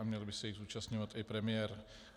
A měl by se jich zúčastňovat i premiér.